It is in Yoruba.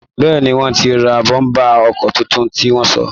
Bẹ́ẹ́ni, wọ́n ti ra bọ́m̀bà ọkọ̀ tuntun tí wọ́n sọ